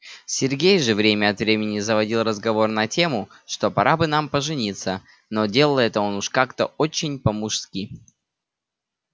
сергей же время от времени заводил разговор на тему что пора бы нам пожениться но делает он это уж как-то очень по-мужски